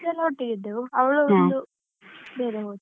Friends ಎಲ್ಲ ಒಟ್ಟಿಗೆ ಇದ್ದೆವು. ಅವಳು ಒಂದು ಬೇರೆ ಹೋದ್ಲು.